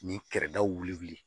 Nin kɛrɛdaw wili